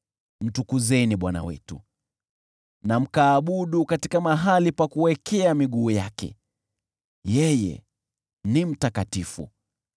Mtukuzeni Bwana Mungu wetu, na mkaabudu katika mahali pa kuwekea miguu yake; yeye ni mtakatifu.